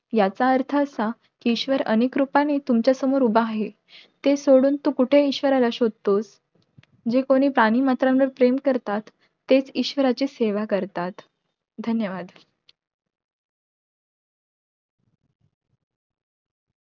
याचा अर्थ असा कि ईश्वर अनेक रूपांनी तुमच्या समोर उभा आहे, ते सोडून तू कुठे ईश्वराला शोधतोस, जे कोणी प्राणी मात्रांवर प्रेम करतात तेच ईश्वराचे सेवा करतात. धन्यवाद.